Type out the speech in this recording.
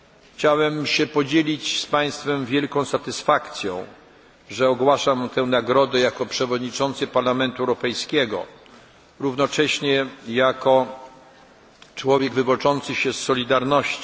Chciałem się podzielić z państwem wielką satysfakcją, że ogłaszam tę nagrodę jako przewodniczący Parlamentu Europejskiego, równocześnie jako człowiek wywodzący się z Solidarności.